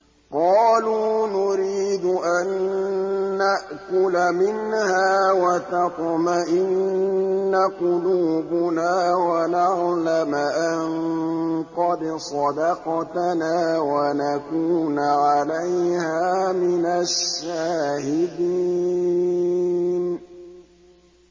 قَالُوا نُرِيدُ أَن نَّأْكُلَ مِنْهَا وَتَطْمَئِنَّ قُلُوبُنَا وَنَعْلَمَ أَن قَدْ صَدَقْتَنَا وَنَكُونَ عَلَيْهَا مِنَ الشَّاهِدِينَ